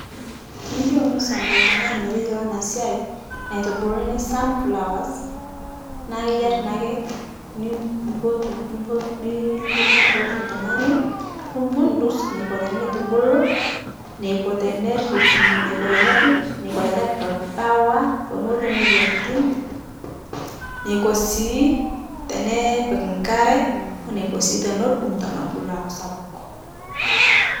Tiniyeu nisom ltung'ani meteyuolo ana sai naitubuluni sunflowers naa keyiari naake nim nimpotu niil nimpotu ltung'ani, nimpundus neiko teneitubulu, neiko teneriip, mmh neiko tenerip, neiko tenepii ldawa pemetum moyianitin, neiko sii tenepik nkare, oneko sii tenedung' tenebulu aaku sapuk